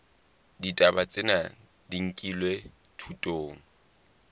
ditaba tsena di nkilwe thutong